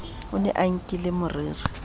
o ne a nkile moriri